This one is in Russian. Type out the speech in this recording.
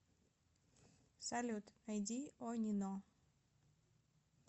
салют найди онино